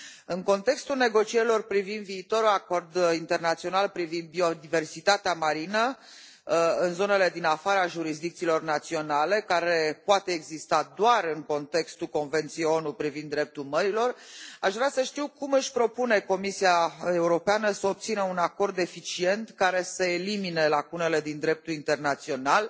În contextul negocierilor privind viitorul acord internațional privind biodiversitatea marină în zonele din afara jurisdicțiilor naționale, care poate exista doar în contextul Convenției ONU privind dreptul mărilor, aș vrea să știu cum își propune Comisia Europeană să obțină un acord eficient, care să elimine lacunele din dreptul internațional,